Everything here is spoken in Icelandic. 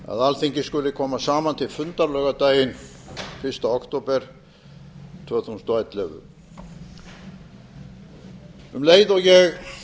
að alþingi skuli koma saman til fundar laugardaginn fyrsta október tvö þúsund og ellefu um leið og ég